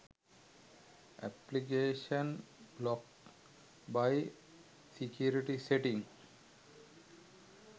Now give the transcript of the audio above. application blocked by security settings